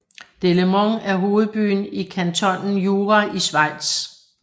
Delémont er hovedbyen i kantonen Jura i Schweiz